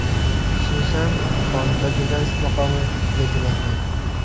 Xususan, qonunda jurnalist maqomi belgilangan.